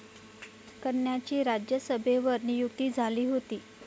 कन्यांची राज्यसभेवर नियुक्ती झाली होती.